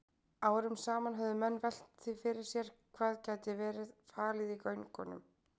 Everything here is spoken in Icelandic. Árum saman höfðu menn velt því fyrir sér hvað gæti verið falið í göngunum.